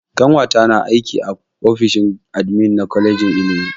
Ƙanwata na aiki a ofishin admin na kwalejin ilimi.